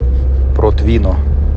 протвино